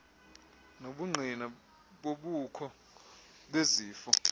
nobungqina bobukho bezifo